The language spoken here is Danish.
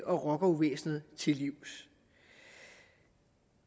og rockeruvæsenet til livs